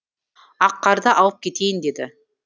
аққарды алып кетейін деді